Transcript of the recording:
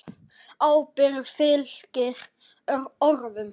Ábyrgð fylgir orðum.